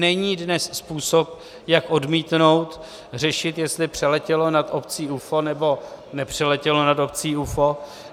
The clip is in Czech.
Není dnes způsob, jak odmítnout řešit, jestli přeletělo nad obcí UFO nebo nepřeletělo nad obcí UFO.